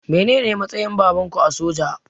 Mene ne matsayin babanku a soja?